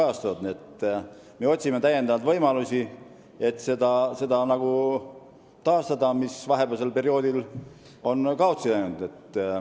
Nii et me otsime võimalusi, et taastada seda, mis on vahepealsel perioodil kaotsi läinud.